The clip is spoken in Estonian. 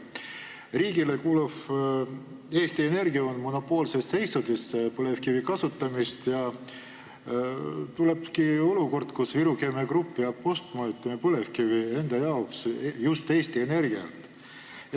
Riigile kuuluv Eesti Energia on monopoolses seisundis põlevkivi kasutamisel ja nii ongi olukord, kus Viru Keemia Grupp peab põlevkivi enda jaoks ostma just Eesti Energialt.